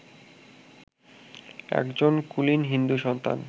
একজন কুলীন হিন্দু-সন্তান